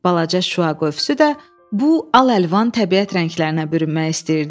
Balaca şüa qövsü də bu al-əlvan təbiət rənglərinə bürünmək istəyirdi.